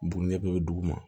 Bugunikɛ bɛɛ bɛ dugu ma